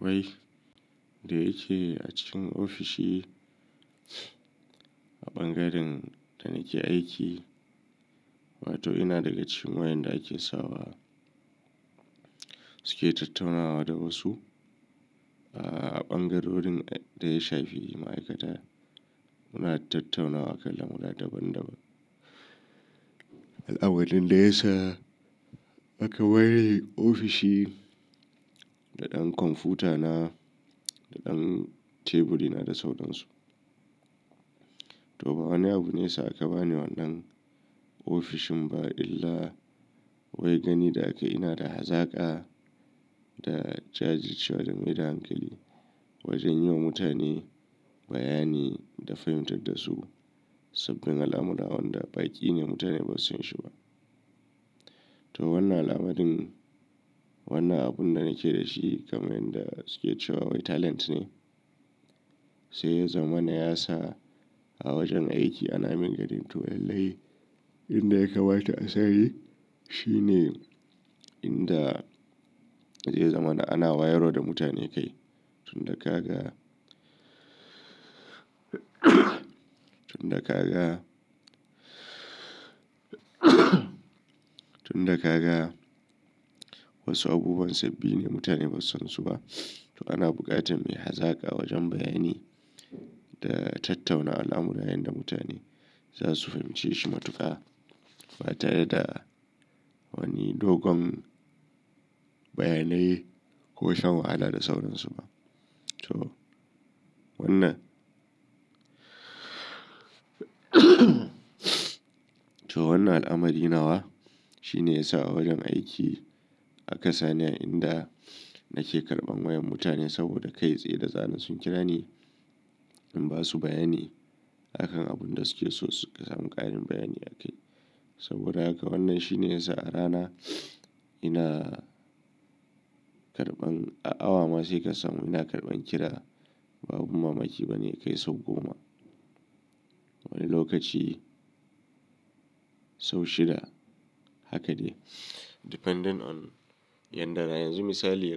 Wai, da yake a cikin ofishi bangaren da nike aiki wato ina daga cikin wa inda da ake sawa suke tattaunawa da wasu a bangarorin daya shafi ma aikata muna tattaunawa akan lamurra daban daban abin da yasa aka bani ofishi da dan computa na da dan teburina da sauransu. Toh ba wani abu ne yasa aka bani wannan ofishin bah illa wai gani da akayi inada hazaka. Da jajircewa da maida hankali wajen yiwa mutane bayani da fahimtar dasu sabbin alamurra wanda baki ne mutane basu san da shi bah to wannan al'amarin, wannan abun da nake da shi kamar yadda suke cewa wai talent ne, sai ya zama na ya sa a wajen aiki ana min ganin to lallai inda ya kama ta asani shine inda zai zama na ana wayarwa da mutane kai. Tun da ka ga tun da ka ga tun da ka ga wasu abubuwan sabbi ne mutane ba su san su ba. To ana buƙatar mai hazaka wajen bayani da tattauna al'amurayen da mutane za su fahimce shi matuƙa ba tare da wani dogon bayanai ko shan wahala da sauransu ba. To wannan to wannan al'amari nawa shine ya sa a wajen aiki aka sani inda nake karɓan wayan mutane saboda kai tsaye da zaran sun kira ni in ba su bayani a kan abun da suke so su samu ƙarin bayani a kai. Saboda haka wannan shine ya sa a rana ina karɓan a awa ma saika samun ina karɓan kira babu mamaki ba ne kai sau goma. Wani lokaci sau shida haka dai. Depending on yanzu misali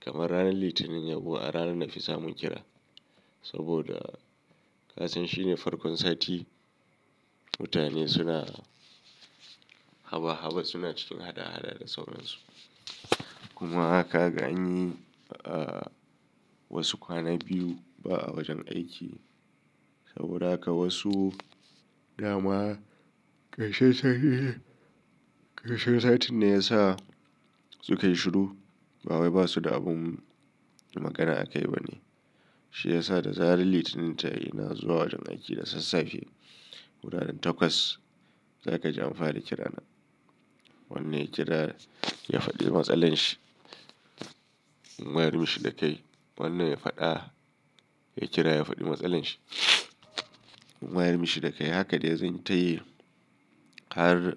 kamar ranar litinin a ranar nafi samun kira saboda kasan shine farkon sati mutane suna cikin hada hada da sauransu. Kuma ka ga an yi wasu kwana biyu ba a wajen aiki saboda haka wasu dama karshen sati karshen satin ne ya sa suka shiru ba wai ba su da abun magana a kai ba ne. Shi ya sa da zaran Litinin ta yi ina zuwa wajen aiki da sassafe. Wuraren takwas za ka ji amfara kira na. Wannan ya kira ya faɗi matsalar shi in wayar mishi da kai. Wannan ya faɗa ya kira ya faɗi matsalar shi in wayar mishi da kai. Haka dai zan yi ta yi har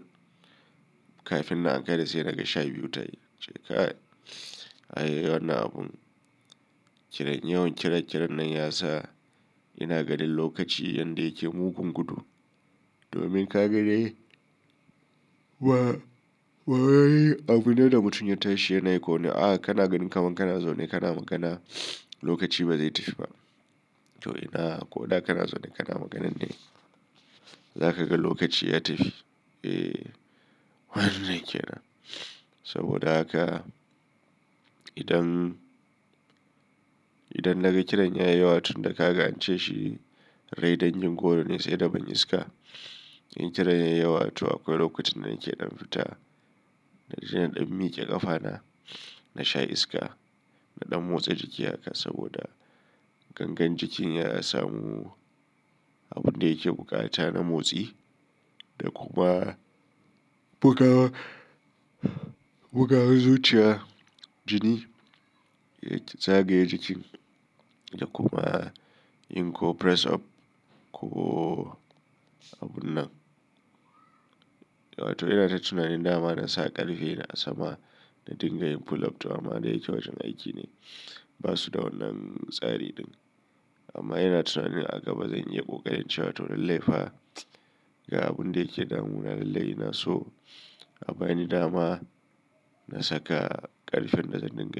kafin na ankara sai naga sha biyu ta yi. Ince kai, ayy, wannan abun kiran yawan kiran-kiran nan ya sa ina ganin lokaci yanda yake mugun gudu. Domin ka ga dai ba-wai abune da mutum ya tashi yana yi ko ne a kanagannin kamar kana zaune kana magana lokaci ba zai tafi ba. To ina ko da kana zaune kana magana ne za ka ga lokaci ya tafi. Eh, wannan ke nan. Saboda haka idan, idan na ga kiran ya yi yawa tun da ka ga ance shi rai dangin goro ne sai da bin iska. In kiran yayi yawa to akwai lokacin da nake ɗan fita na inje in ɗan miƙe ƙafa na, na sha iska, na ɗan motsa jiki haka saboda gangar jikin ya samu abun da yake buƙata na motsi da kuma bugawa, bugawar zuciya jini ya zagaya jikin da kuma in ko press up ko abun nan. Wato ina ta tunanin dama na sa ƙarfe na a sama na dinga yin pull up to amma dai yake wajen aiki ne ba su da wannan tsari ɗin. Amman ina tunanin a gaba zan iya kokarin cewa toh lallaifa ga abun da yake damu na lallai naso a bani dama na saka ƙarfen da zan dinga.